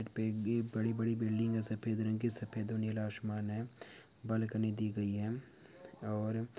ये बड़ी-बड़ी बिल्डिंग है सफेद रंग की सफेद और नीला आसमान है बालकनी दी गई है और--